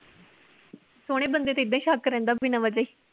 ਸੋਹਣੇ ਬੰਦੇ ਤੇ ਏਦਾਂ ਹੀ ਸ਼ੱਕ ਰਹਿੰਦਾ ਬਿਨਾ ਵਜ੍ਹਾ ਈ।